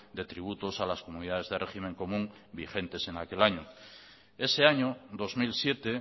de tributos a las comunidades de régimen común vigentes en aquel año ese año dos mil siete